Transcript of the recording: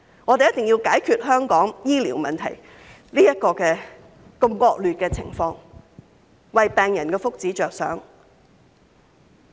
我們必須解決香港醫療問題這個惡劣的情況，為病人的福祉着想。